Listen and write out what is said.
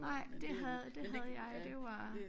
Nej det havde det havde jeg og det var